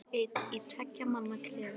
Ég er einn í tveggja manna klefa.